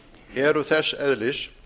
eru þess eðlis